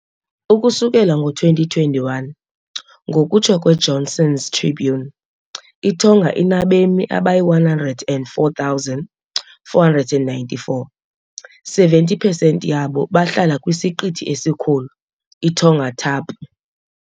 Ukusukela ngo-2021, ngokutsho kweJohnson's Tribune, iTonga inabemi abayi-104,494, 70 pesenti yabo bahlala kwisiqithi esikhulu, iTongatapu .